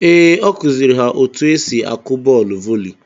Ee ọ kụziiri ha otu esi akụ bọọlụ voli.